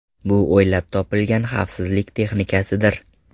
Bu o‘ylab topilgan xavfsizlik texnikasidir.